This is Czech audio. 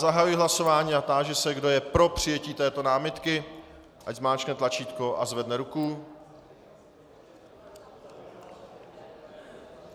Zahajuji hlasování a táži se, kdo je pro přijetí této námitky, ať zmáčkne tlačítko a zvedne ruku.